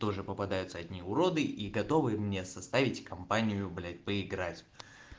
тоже попадаются одни уроды и готовые мне составить компанию блять поиграть